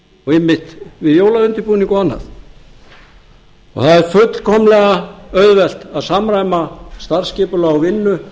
og einmitt við jólaundirbúning og annað og það er fullkomlega auðvelt að samræma starfsskipulag og vinnu